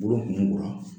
Bolo kunko la